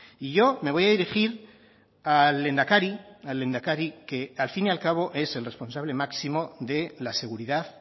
y yo me voy a dirigir al lehendakari al lehendakari que al fin y al cabo es el responsable máximo de la seguridad